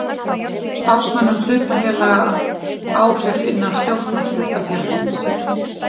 starfsmönnum hlutafélaga áhrif innan stjórnar hlutafélagsins.